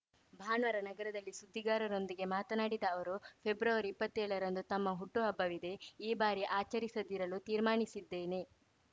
ಭಾನುವಾರ ನಗರದಲ್ಲಿ ಸುದ್ದಿಗಾರರೊಂದಿಗೆ ಮಾತನಾಡಿದ ಅವರು ಫೆಬ್ರವರಿಇಪ್ಪತ್ತೇಳರಂದು ತಮ್ಮ ಹುಟ್ಟುಹಬ್ಬವಿದೆ ಈ ಬಾರಿ ಆಚರಿಸದಿರಲು ತೀರ್ಮಾನಿಸಿದ್ದೇನೆ